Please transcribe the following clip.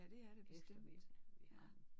Ja det er det bestemt ja